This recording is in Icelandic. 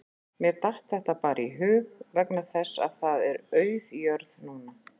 Mér datt þetta bara í hug vegna þess að það er auð jörð núna